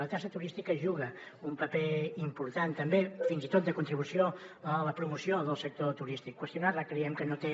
la taxa turística juga un paper important també fins i tot de contribució a la promoció del sector turístic qüestionar la creiem que no té